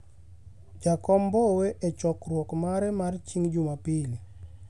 Jakom Mbowe E chokruok mare mare chieng' Jumapil